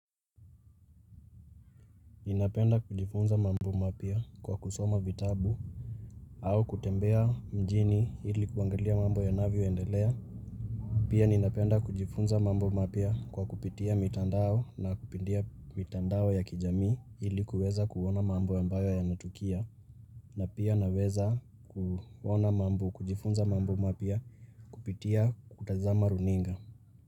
Ninapenda kujifunza mambo mapya kwa kusoma vitabu au kutembea mjini hili kuangalia mambo yanavyo endelea. Pia ninapenda kujifunza mambo mapya kwa kupitia mitandao ya kijamii ili kuweza kuona mambo ambayo yanatukia. Na pia naweza kuona mambo kujifunza mambo mapya kupitia kutazama runinga.